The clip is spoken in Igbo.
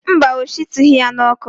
Mba, ọ shitughị ya n'ọkụ.